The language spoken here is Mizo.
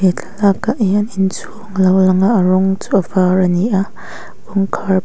he thlalak ah hian inchhung alo lang a a rawng chu a var ani a kawngkhar pakhat--